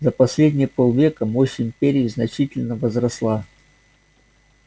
за последние полвека мощь империи значительно возросла